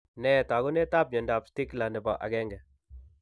Nee taakunetaab myondap Stickler nebo 1?